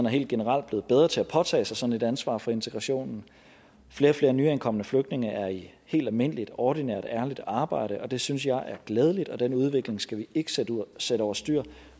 helt generelt blevet bedre til at påtage sig sådan et ansvar for integrationen flere og flere nyankomne flygtninge er i helt almindeligt ordinært ærligt arbejde og det synes jeg er glædeligt og den udvikling skal vi ikke sætte sætte over styr